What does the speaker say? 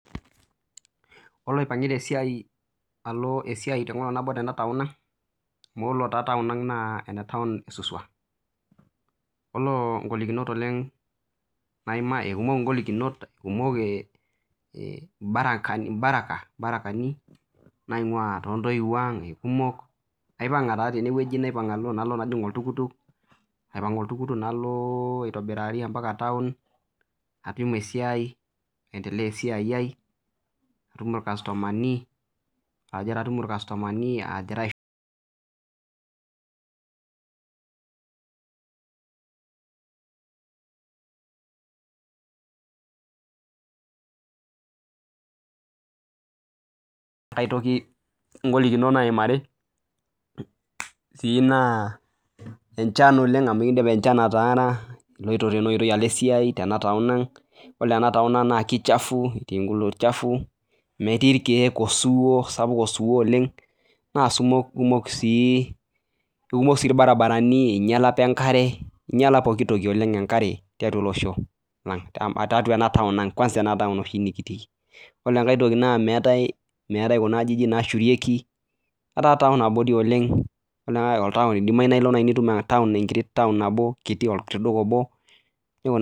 Ore aio esiai enkolog nabo Tena town ang kumok golikinot kumok barakani naingua too ntoyiwuo ang kumok aipanga najingu oltukutuk nalo aitobirari mbaka town najig esiai naendelea esiai ai natum irkastomani agira aishoo aitoki golikinot nayimari naa enchan amu ekidim enchan ataara eloito tenaa oitoi alo esiai Tena town ang ore ena town ang naa kichafu metii irkeek osiwuo osapuk oleng naa kumok sii barabarani einyiala apa enkare enyiala pooki tiatua ena town ang yiolo enkae toki meetae Kuna ajijik naashurieki etaa town abori oleng edim naaji Niko atum olduka obo